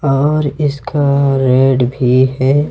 और इसका रेड भी है।